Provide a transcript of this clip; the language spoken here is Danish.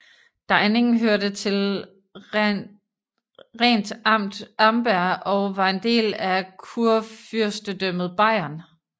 Deining hørte til Rentamt Amberg og var en del af Kurfyrstedømmet Bayern